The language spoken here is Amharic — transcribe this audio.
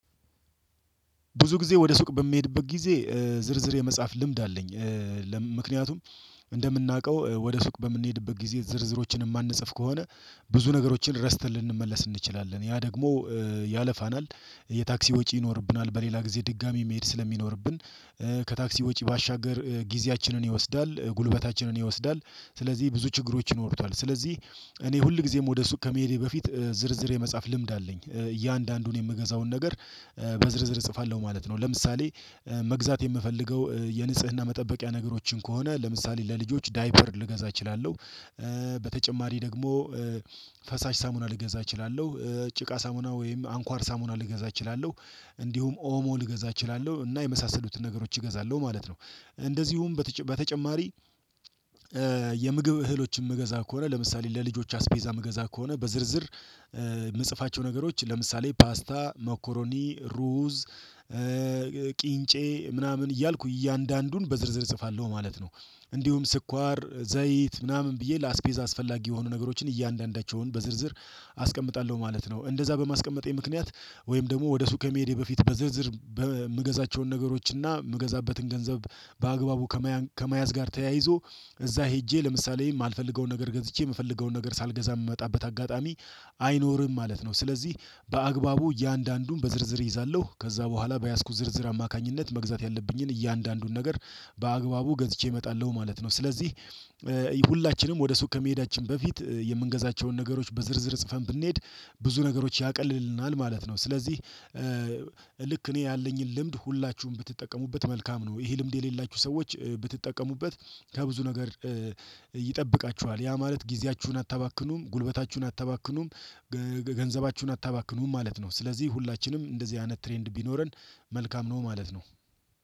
ብዙ ጊዜ ወደ ሱቅ በሚሄድበት ጊዜ ዝርዝር የመጻፍ ልምድ አለኝ። ምክንያቱም እንደምናውቀው ወደ ሱቅ በምንሄድበት ጊዜ ዝርዝሮችን የማንጽፍ ከሆነ ብዙ ነገሮችን ረስተን ልንመለስ እንችላለን ያ ደግሞ ያለፋናል የታክሲ ወጪ ይኖርብናል በሌላ ጊዜ ድጋሚ መሄድ ስለሚኖርብን ከታክሲ ወጪ ባሻገር ጊዜያችንን ይወስዳል ጉልበታችንን ይወስዳል። ስለዚህ ብዙ ችግሮች ይኖሩታል ስለዚህ እኔ ሁል ጊዜም ወደ ሱቅ ከመሄዴ በፊት ዝርዝር የመጻፍ ልምድ አለኝ። እያንዳንዱን የምገዛውን ነገር በዝርዝር እጽፋለሁ ማለት ነው። ለምሳሌ መግዛት የምፈልገው የንጽህና መጠበቂያ ነገሮችን ከሆነ ለምሳሌ ለልጆች ዳይፐር ልገዛ እችላለሁ። በተጨማሪ ደግሞ ፈሳሽ ሳሙና ልገዛ እችላለሁ ጭቃ ሳሙና ወይም አንኳር ሳሙና ልገዛ እችላለሁ። እንዲሁም ኦሞ ልገዛ እችላለሁ እና የመሳሰሉትን ነገሮች እገዛለሁ ማለት ነው። እንደዚሁም በተጨማሪ የምግብ እህሎችን የምገዛ ከሆነ ለምሳሌ ለልጆች አስቤዛ መገዛ ከሆነ በዝርዝር የምጽፋቸው ነገሮች ለምሳሌ ፓስታ ሞኮሮኒ ሩዝ ቂንጬ ምናምን እያልኩ እያንዳንዱን በዝርዝር እጽፋለሁ ማለት ነው። እንዲሁም ስኳር ዘይት ምናምን ብዬ ለአስቤዛ አስፈላጊ የሆኑ ነገሮችን እያንዳንዳቸውን በዝርዝር አስቀምጣለሁ ማለት ነው። እንደዛ በማስቀመጤ ምክንያት ወይም ደግሞ ወደ ሱ ከመሄዴ በፊት በዝርዝር የምገዛቸውን ነገሮች እና የምገዛበትን ገንዘብ በአግባቡ ከመያዝ ጋር ተያይዞ እዛ ሄጄ ለምሳሌ የማልፈልገውን ነገር ገዝቼ የምፈልገውን ነገር ሳልገዛ የምመጣበት አጋጣሚ አይኖርም ማለት ነው። ስለዚህ በአግባቡ እያንዳንዱን በዝርዝር እይዛለሁ ከዛ በኋላ በያዝኩት ዝርዝር አማካኝነት መግዛት ያለብኝን እያንዳንዱን ነገር በአግባቡ ገዝቼ እመጣለሁ ማለት ነው። ስለዚህ ሁላችንም ወደ ሱቅ ከመሄዳችን በፊት የምንገዛቸውን ነገሮች በዝርዝር ጽፈን ብንሄድ ብዙ ነገሮች ያቀልልናል ማለት ነው። ስለዚህ ልክ እኔ ያለኝን ልምድ ሁላችሁም ብትጠቀሙበት መልካም ነው። ይሄ ልምድ የሌላችሁ ሰዎች ብትጠቀሙበት ከብዙ ነገር ይጠብቃችኋል ያ ማለት ጊዜያችሁን አታባክኑም ጉልበታችሁን አታባክኑም። ገንዘባችሁን አታባክኑም ማለት ነው። ስለዚህ ሁላችንም እንደዚህ አይነት ትሬንድ ቢኖረን መልካም ነው ማለት ነው